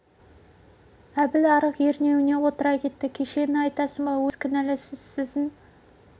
әбіл арық ернеуіне отыра кетті кешегіні айтасың ба өзің ғой енді мен емес сіз кінәлісіз сіздің